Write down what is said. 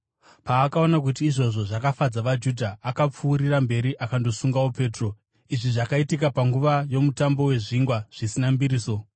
Paakaona kuti izvozvo zvakafadza vaJudha, akapfuurira mberi akandosungawo Petro. Izvi zvakaitika panguva yoMutambo weZvingwa Zvisina Mbiriso.